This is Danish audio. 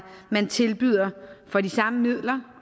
man tilbyder for de samme midler